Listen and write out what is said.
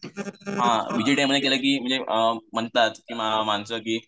केलं की म्हणजे म्हणतात माणसं की